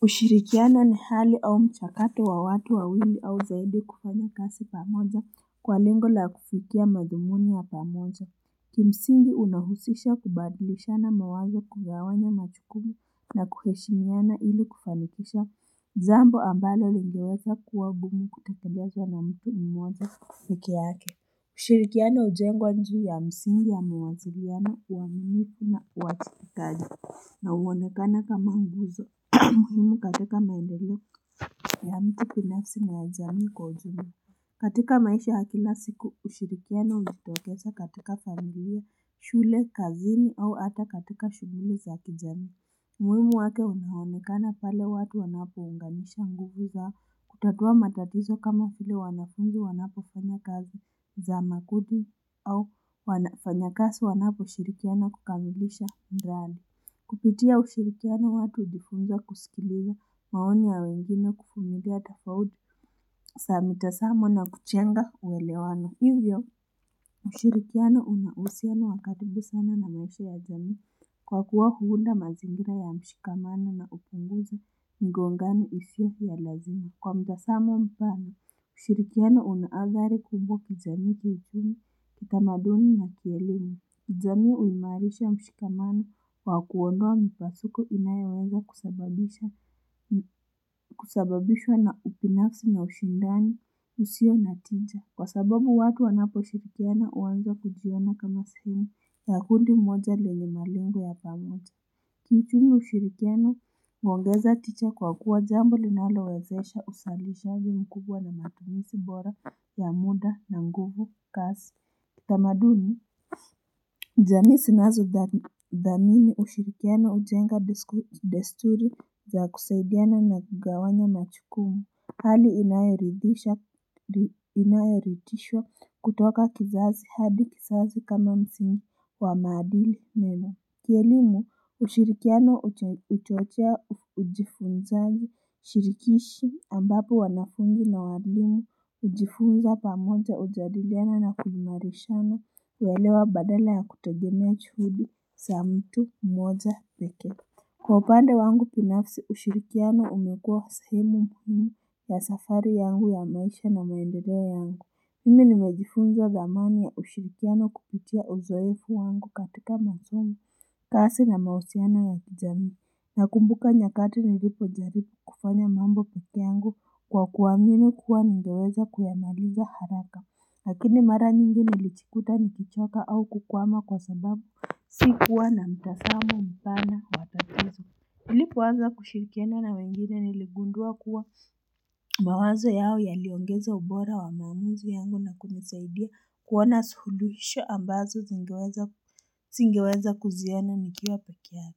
Kushirikiana ni hali au mchakato wa watu wawili au zaidi kufanya kazi pamoja kwa lengo la kufikia madhumuni ya pamoja. Kimsingi unahusisha kubadilishana mawazo, kugawanya majukumu na kuheshimiana ili kufanikisha. Jambo ambalo lingeweza kuwa ngumu kutekelezwa na mtu mmoja peke yake. Ushirikiano hujengwa juu ya msingi ya mawasiliano, uaminifu na uwajibikaji. Na huonekana kama nguzo muhimu katika maendeleo ya mtu binafsi na ya jamii kwa ujumla. Katika maisha ya kila siku ushirikiano hujitokeza katika familia, shule, kazini au hata katika shughuli za kijamii. Umuhimu wake unaonekana pale watu wanapounganisha nguvu zao, kutatua matatizo kama vile wanafunzi wanapofanya kazi za makundi au wafanyakazi wanaposhirikiana kukamilisha mradi. Kupitia ushirikiano watu hujifunza kusikiliza maoni ya wengine kuvumilia tofauti za mitazamo na kujenga uelewano. Hivyo, ushirikiano una uhusiano wa karibu sana na maisha ya jamii kwa kuwa huunda mazingira ya mshikamano na hupunguza migongano isiyo ya lazima. Kwa mtazamo mpana, ushirikiano una athari kubwa kijamii kijini, kitamaduni na kielimu. Jamii huimarisha mshikamano kwa kuondoa mipasuko inayoweza kusababisha kusababishwa na ubinafsi na ushindani usio na tija. Kwa sababu watu wanaposhirikiana huanza kujiona kama sehemu ya kundi moja lenye malengo ya pamoja. Kwa ujumla ushirikiano, huongeza tija kwa kuwa jambo linalowezesha uzalishaji mkubwa na matumizi bora ya muda na nguvu kasi. Kitamaduni jamii zinazothamini ushirikiano hujenga desturi za kusaidiana na kugawanya majukumu, Hali inayoridhisha kutoka kizazi hadi kizazi kama msimu wa maadili mema, Kielimu, ushirikiano hutuachia ujifunzaji, ushirikishi ambapo wanafunzi na walimu hujifunza pamoja, hujadiliana na kuimarishana, kuelewa badala ya kutegemea juhudi za mtu mmoja, pekee. Kwa upande wangu kinafsi ushirikiano umekua sehemu muhimu ya safari yangu ya maisha na maendeleo yangu. Mimi nimejifunza dhamani ya ushirikiano kupitia uzoefu wangu katika masomo, kazi na mahusiano ya kijamii. Nakumbuka nyakati nilipojaribu kufanya mambo peke yangu kwa kuamini kuwa ningeweza kuyamaliza haraka. Lakini mara nyingi nilijikuta nikichoka au kukwama kwa sababu sikuwa na mtazamo mpana wa tatizo. Nilipoanza kushirikiana na wengine niligundua kuwa mawazo yao yaliongeza ubora wa maamuzi yangu na kunisaidia kuona suluhisho ambazo singeweza kuziona nikiwa peke yangu.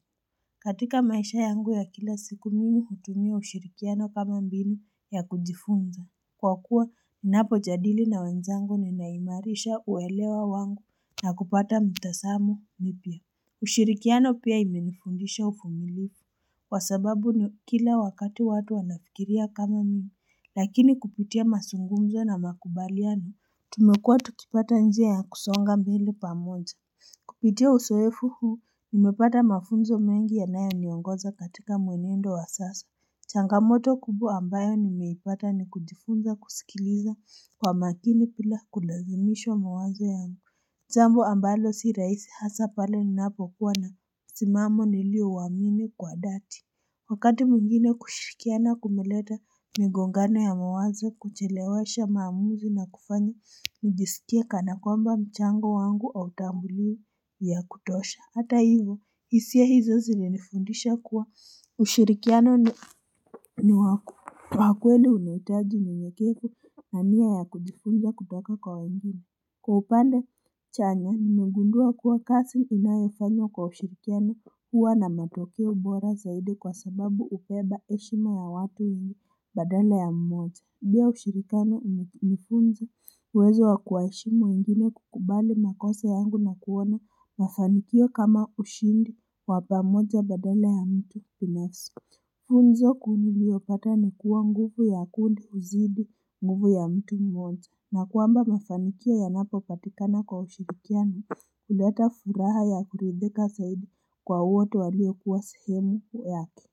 Katika maisha yangu ya kila siku mimi hutumia ushirikiano kama mbinu ya kujifunza Kwa kuwa ninapojadili na wenzangu ninaimarisha uelewa wangu na kupata mitazamo mipya. Ushirikiano pia imenifundisha uvumilivu. Kwa sababu kila wakati watu wanafikiria kama mimi. Lakini kupitia mazungumzo na makubaliano, tumekuwa tukipata njia ya kusonga mbele pamoja. Kupitia uzoefu huu nimepata mafunzo mengi yanayoniongoza katika mwenendo wa sasa Changamoto kubwa ambayo nimeipata ni kujifunza kusikiliza kwa makini bila kulazimishwa mawazo yangu. Jambo ambalo si rahisi hasa pale ninapokuwa na msimamo niliouamini kwa dhati. Wakati mwingine kushirikiana kumeleta migongano ya mawazo, kuchelewesha maamuzi na kufanya nijisikie kana kwamba mchango wangu hautambuliwi. Ya kutosha. Hata hivo, hisia hizo zilinifundisha kuwa ushirikiano ni wa kweli unahitaji unyenyekevu na nia ya kujifunza kutoka kwa wengine. Kwa upande chanya nimegundua kuwa kazi inayafanywa kwa ushirikiano huwa na matokeo bora zaidi kwa sababu hubeba heshima ya watu wengi badala ya mmoja. Pia ushirikiano hunifunza uwezo wa kuwaheshimu wengine, kukubali makosa yangu na kuona mafanikio kama ushindi wa pamoja badala ya mtu binafsi. Funzo kuu niliyopata ni kuwa nguvu ya kundi huzidi nguvu ya mtu mmoja na kwamba mafanikio yanapopatikana kwa ushirikiano huleta furaha ya kuridhika zaidi kwa wote waliokuwa sehemu yake.